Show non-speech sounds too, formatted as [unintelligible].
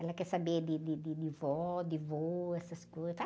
Ela quer saber de, de, de, de vó, de vô, essas coisas. [unintelligible]